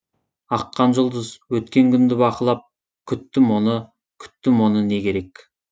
аққан жұлдыз өткен күнді бақылап күттім оны күттім оны не керек